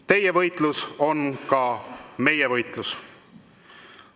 Teie võitlus on ka meie võitlus.